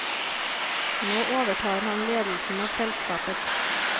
Nå overtar han ledelsen av selskapet.